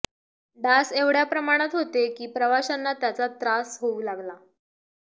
डास एवढ्या प्रमाणात होते की प्रवाशांना त्याचा त्रास होऊ लागला